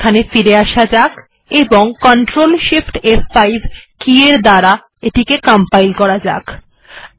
এখানে ফিরে আসা যাক এবং Ctrl shift ফ5 -এর দ্বারা পুনরায় কম্পাইল করা যাক